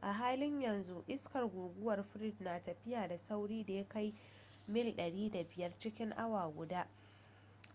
a halin yanzu iskar guguwar fred na tafiya da saurin da ya kai mil 105 cikin awa guda